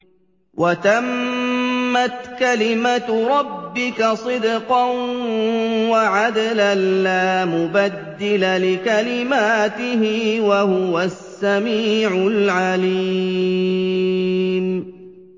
وَتَمَّتْ كَلِمَتُ رَبِّكَ صِدْقًا وَعَدْلًا ۚ لَّا مُبَدِّلَ لِكَلِمَاتِهِ ۚ وَهُوَ السَّمِيعُ الْعَلِيمُ